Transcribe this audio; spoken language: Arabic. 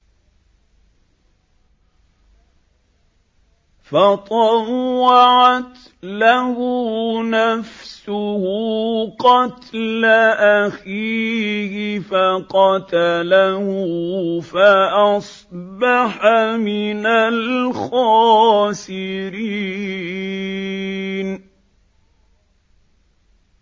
فَطَوَّعَتْ لَهُ نَفْسُهُ قَتْلَ أَخِيهِ فَقَتَلَهُ فَأَصْبَحَ مِنَ الْخَاسِرِينَ